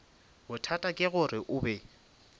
bothata ke gore o be